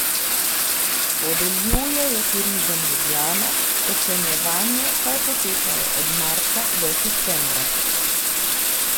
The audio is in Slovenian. Podeljuje jo Turizem Ljubljana, ocenjevanje pa je potekalo od marca do septembra.